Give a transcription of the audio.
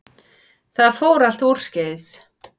Það fór allt úrskeiðis